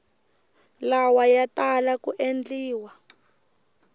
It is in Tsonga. lawa ya tala ku endliwa